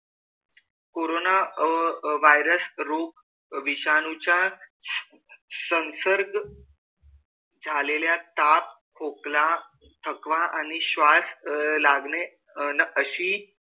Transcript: corona uh virus रोग विषाणूचा संसर्ग झालेल्या ताप, खोकला, थकवा आणि श्वास लागणे अन अशी,